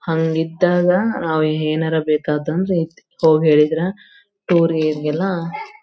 ಹಂಗ್ ಇದ್ದಾಗ ನಾವು ಏನಾರ್ ಬೇಕಾದಂದ್ರೆ ಹೋಗಿ ಹೇಳಿದ್ರೆ ಟೂರ್ ಗೀರ್ ಎಲ್ಲಾ --